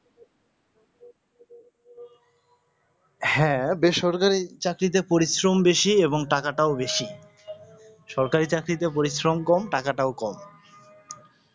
হাঁ বেসরকারিতে চাকরিতে পরিশ্রম বেশি এবং আর টাকা টাও বেশি সরকারি চাকরিতে পরিশ্রম কম টাকা টাও কম